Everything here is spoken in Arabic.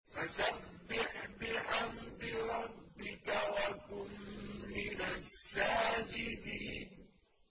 فَسَبِّحْ بِحَمْدِ رَبِّكَ وَكُن مِّنَ السَّاجِدِينَ